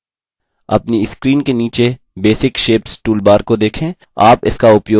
अपनी screen के नीचे basic shapes toolbar को देखें